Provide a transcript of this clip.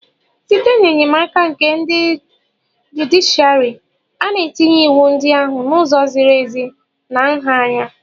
Site n'enyemaka nke ndị jụdịshịàrị, a na-etinye iwu ndị ahụ n'ụzọ ziri ezi na nha anya